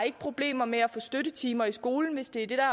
ikke problemer med at få støttetimer i skolen hvis det er det